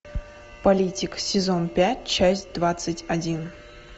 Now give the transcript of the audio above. политик сезон пять часть двадцать один